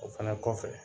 O fɛnɛ kɔfɛ